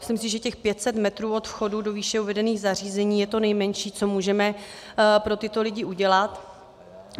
Myslím si, že těch 500 metrů od vchodu do výše uvedených zařízení je to nejmenší, co můžeme pro tyto lidi udělat.